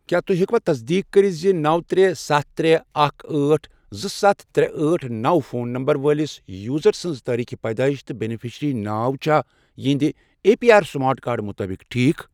کیٛاہ تُہۍ ہیٚکوا تصدیٖق کٔرِتھ زِ نوَ، ترے، ستھَ، ترے، اکھ، أٹھ، زٕ، ستھ، ترے، أٹھ، نوَ، فون نمبر وٲلِس یوزر سٕنٛز تاریٖخ پیدٲئش تہٕ بینِفیشری ناو چھا اہنٛدِ N P R smart card مُطٲبق ٹھیٖک۔